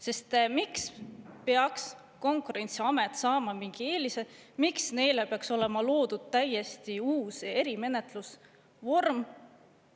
Sest miks peaks Konkurentsiamet saama mingi eelise, miks neile peaks olema loodud täiesti uus eri menetlusvorm?